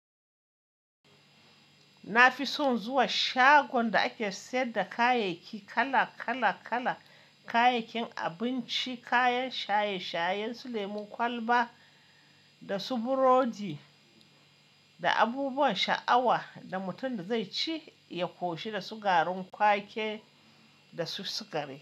Na fi son zuwa shagon da ake sayar da kayayyaki kala kala kala, kayayyakin abinci, kayan shaye-shaye su lemun kwalba da su burodi da abubuwan sha awa da mutum da zai ci ya koshi da su garin kwake da su sukari.